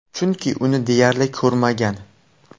Chunki, uni deyarli ko‘rmagan.